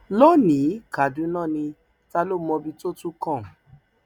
lónìí kaduna ní ta ló mọbi tó tún kan